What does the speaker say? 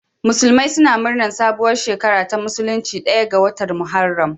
Musulmai suna murnar sabuwar shekara ta musulunci ɗaya ga watan Muharram.